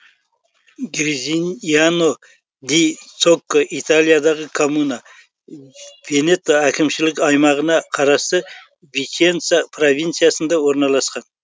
гризиньяно ди цокко италиядағы коммуна венето әкімшілік аймағына қарасты виченца провинциясында орналасқан